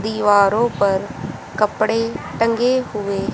दीवारों पर कपड़े टंगे हुए--